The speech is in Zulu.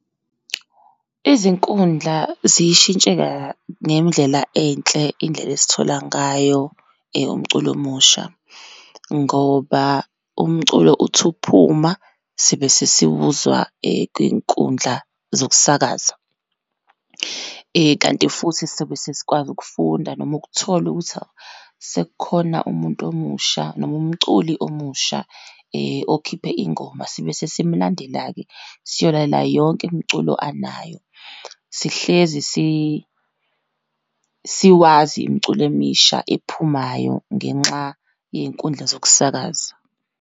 Izinkundla ziyishintshe ka, ngendlela enhle indlela esithola ngayo umculo omusha, ngoba umculo uthi uphuma sibe sesiwuza kwiyinkundla zokusakaza. Kanti futhi, sobe sesikwazi ukufunda, noma ukuthola ukuthi, hhawu sekukhona umuntu omusha, noma umculi omusha okhiphe ingoma, sibe sesimlandela-ke siyolale yonke imiculo anayo. Sihlezi siwazi imiculo emisha ephumayo ngenxa yey'nkundla zokusakaza.